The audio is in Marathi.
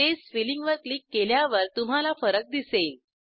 स्पेस फिलिंग वर क्लिक केल्यावर तुम्हाला फरक दिसेल